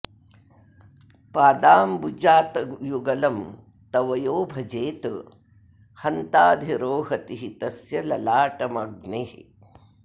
पादांबुजातयुगलं तव यो भजेत हन्ताधिरोहति हि तस्य ललाटमग्निः